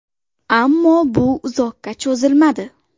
Ammo bu uzoqqa cho‘zilmadi.